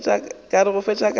ka re go fetša ka